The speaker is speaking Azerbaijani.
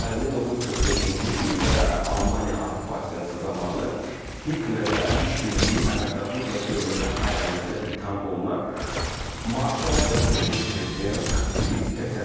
Bəli, 1945-ci ildə Almaniya işğalı zamanı Hitlər ilə işbirliyi, əməkdaşlıq və dövlətə xəyanətdə ittiham olunaraq marşal və keçmiş prezident Filip Peten.